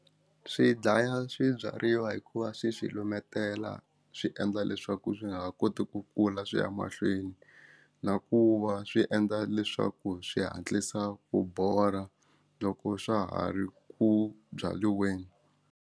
Swi dlaya swi byariwa hikuva swi swilo himetela swi endla leswaku swi nga ha koti ku kula swi ya mahlweni na ku va swi endla leswaku swi hatlisa ku bola loko swa ha ri ku byaliweni.